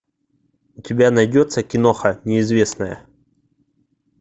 у тебя найдется киноха неизвестная